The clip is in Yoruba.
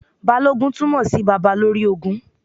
Balógun túmọ̀ sí Baba lórí ogun.